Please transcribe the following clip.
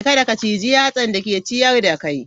Kada ka ciji yatsan da ke ciyar da kai.